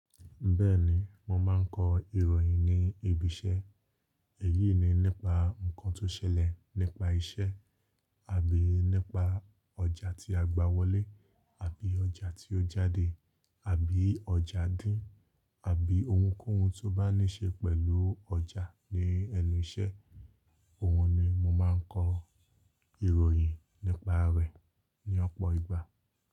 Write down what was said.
Bẹ́ẹ̀ni, mo máa ń kọ ìròyìn ní ibi iṣẹ́. Èyí ni nípa ǹkan tó ṣẹlẹ̀ nípa iṣẹ́ àbí nípa ọjà tí a gba wọlé, àbí ọjà tí ó jáde, àbí ọjà dín, àbí ohunkóhun tó bá ní ṣe pẹ̀lú ọjà ní ẹnu iṣẹ́. Òhun ni mo máa ń kọ ìròyìn nípa rẹ̀ ní ọ̀pọ̀ ìgbà.